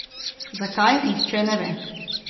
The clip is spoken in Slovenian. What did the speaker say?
Zakaj, nihče ne ve.